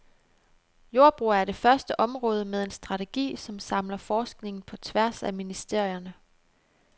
Jordbrug er det første område med en strategi, som samler forskningen på tværs af ministerierne.